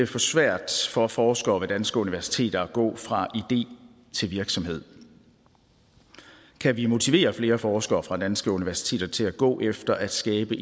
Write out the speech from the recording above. for svært for forskere ved danske universiteter at gå fra idé til virksomhed kan vi motivere flere forskere fra danske universiteter til at gå efter at skabe